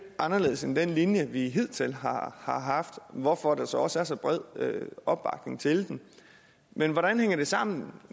anderledes end den linje vi hidtil har har haft hvorfor der så også er så bred opbakning til den men hvordan hænger det sammen